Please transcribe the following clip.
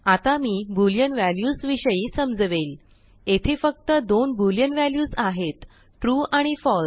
आता मी boolean values विषयी समजवेल येथे फक्त दोनबुलिअन व्ह्याल्युसआहेतtrueआणिfalse